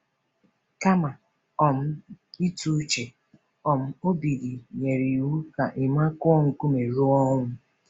Kama um ịtụ uche, um Obidi nyere iwu ka Emma kụọ nkume ruo ọnwụ.